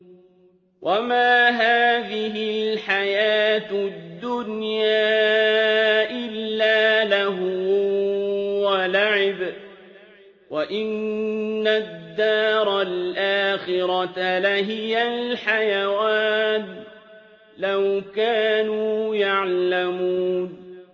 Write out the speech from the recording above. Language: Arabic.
وَمَا هَٰذِهِ الْحَيَاةُ الدُّنْيَا إِلَّا لَهْوٌ وَلَعِبٌ ۚ وَإِنَّ الدَّارَ الْآخِرَةَ لَهِيَ الْحَيَوَانُ ۚ لَوْ كَانُوا يَعْلَمُونَ